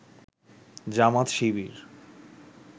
Jamaat Shibir